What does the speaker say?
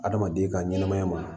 Adamaden ka ɲɛnɛmaya ma